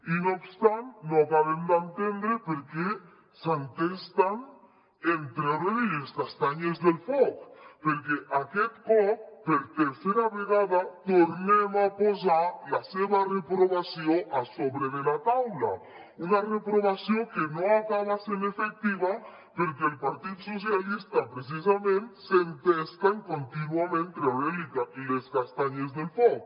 i no obstant no acabem d’entendre per què s’entesten en treure li les castanyes del foc perquè aquest cop per tercera vegada tornem a posar la seva reprovació a sobre de la taula una reprovació que no acaba sent efectiva perquè el partit socialistes precisament s’entesta en contínuament treure li les castanyes del foc